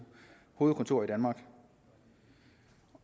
hovedkontorer i danmark